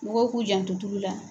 Mɔgɔw k'u janto tulu la.